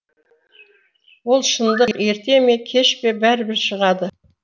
ол шындық ерте ме кеш пе бәрібір шығады